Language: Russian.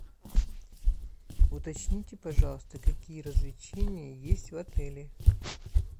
уточните пожалуйста какие развлечения есть в отеле